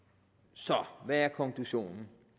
så hvad er konklusionen